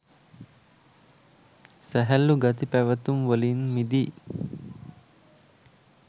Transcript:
සැහැල්ලු ගති පැවතුම්වලින් මිදී